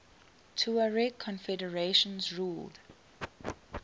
tuareg confederations ruled